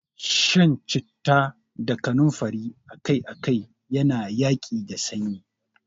Shan citta da kanumfari akai-akai yana yaƙi da sanyi.